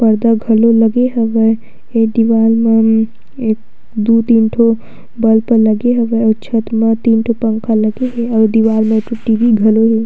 पर्दा भले लगे हवय ए दीवाल मन एक दू तीन ठो बल्ब लगे हवय अऊ छत में तीन ठो पंखा लगे हेअऊ दीवाल मे एक ठो टीवी घलो हे।